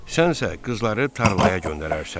Sənsə qızları tarlaya göndərərsən.